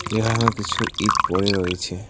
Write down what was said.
এখানেও কিছু ইট পড়ে রয়েছে।